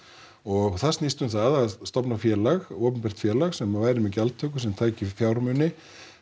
og það snýst um það að stofna félag opinbert félag sem væri með gjaldtöku sem tæki fjármuni